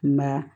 Nka